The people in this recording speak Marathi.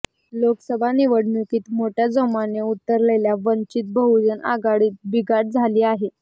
लोकसभा निवडणुकीत मोठ्या जोमाने उतरलेल्या वंचित बहुजन आघाडीत बिघाडी झाली आहे